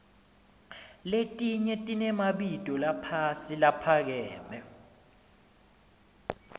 letnye tiremabito laphasi caphakeme